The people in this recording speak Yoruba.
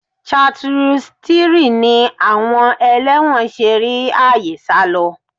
-chartreuse 3ni àwọn ẹlẹ́wọ̀n ṣe rí àyè sálọ?